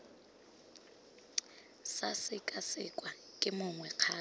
sa sekasekwa ke mongwe kgato